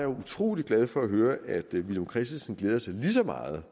utrolig glad for at høre at villum christensen glæder sig lige så meget